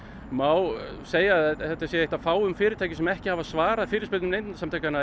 má segja að þetta sé eitt af fáum fyrirtækjum sem ekki hafa svarað fyrirspurnum Neytendasamtakanna